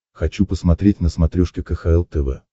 хочу посмотреть на смотрешке кхл тв